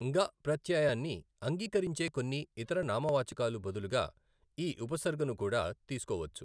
న్గ ప్రత్యయాన్ని అంగీకరించే కొన్ని ఇతర నామవాచకాలు బదులుగా ఈ ఉపసర్గను కూడా తీసుకోవచ్చు.